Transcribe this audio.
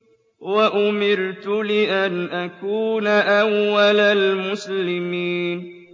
وَأُمِرْتُ لِأَنْ أَكُونَ أَوَّلَ الْمُسْلِمِينَ